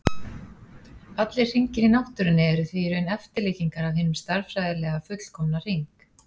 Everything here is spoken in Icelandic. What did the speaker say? Allir hringir í náttúrunni eru því í raun eftirlíkingar af hinum stærðfræðilega fullkomna hring.